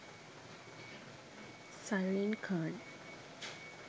zarine khan